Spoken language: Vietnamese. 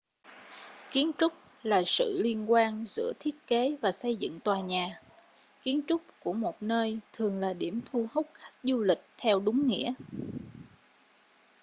kiến trúc là sự liên quan giữa thiết kế và xây dựng tòa nhà kiến trúc của một nơi thường là điểm thu hút khách du lịch theo đúng nghĩa